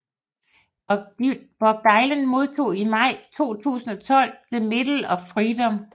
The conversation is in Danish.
Bob Dylan modtog i maj 2012 the Medal of Freedom